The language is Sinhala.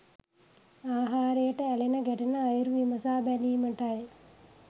ආහාරයට ඇලෙන ගැටෙන අයුරු විමසා බැලීමටයි.